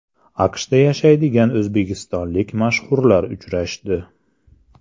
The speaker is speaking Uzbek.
AQShda yashaydigan o‘zbekistonlik mashhurlar uchrashdi.